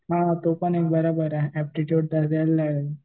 हां ते पण एक बरोबर आहे ऍप्टिट्यूड तर द्यायला लागेल.